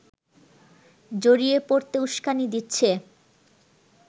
জড়িয়ে পড়তে উস্কানি দিচ্ছে